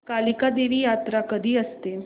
कालिका देवी यात्रा कधी असते